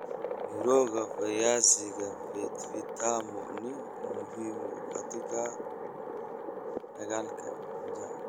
Mirooga viazi vitamu ni muhimu katika la dagaalka njaa.